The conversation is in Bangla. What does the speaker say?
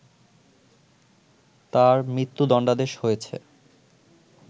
তার মৃত্যুদণ্ডাদেশ হয়েছে